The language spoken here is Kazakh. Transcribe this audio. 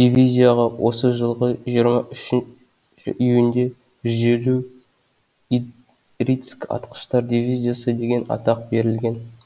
дивизияға осы жылғы жиырма үші июньде жүз елу идрицк атқыштар дивизиясы деген атақ берілген